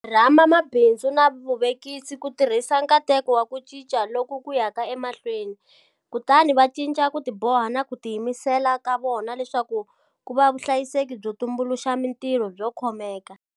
Rhamba mabindzu na vavekisi ku tirhisa nkateko wa ku cinca loku ku yaka emahlweni kutani va cinca ku tiboha na ku tiyimisela ka vona leswaku ku va vuvekisi byo tumbuluxa mitirho byo khomeka.